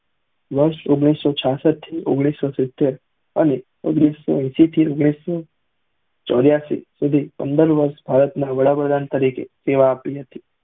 વર્ષ ઓગણીસો છાછાત થી ઇઘ્નીશ સૌ સિત્તેર અને ઓઘ્નીશ સૌ એશી થી ચૌરાશી સુધી પંદર વર્ષ ભારત ના વડા પ્રધાન તરીકે સેવા આપી હતી